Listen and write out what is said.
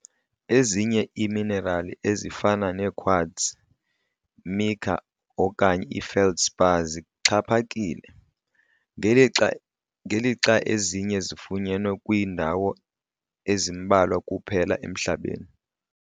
Ezinye iiminerali, ezifana nequartz, mica okanye feldspar zixhaphakile, ngelixa ezinye zifunyenwe kwiindawo ezimbalwa kuphela emhlabeni.